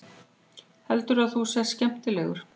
Heldurðu að þú sért skemmtilegur?